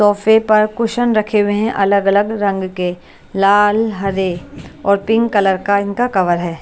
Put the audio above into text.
सोफे पर कुशन रखे हुए हैं अलग-अलग रंग के लाल हरे और पिंक कलर का इनका कवर है।